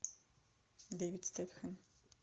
дэвид стэтхэм